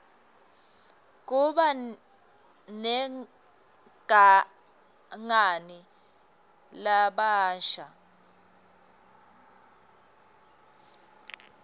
kuba negangani labasha